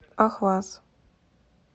ахваз